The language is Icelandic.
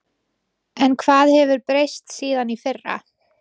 En hvað hefur breyst síðan í fyrra?